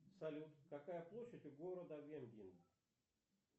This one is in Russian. салют какая площадь у города венген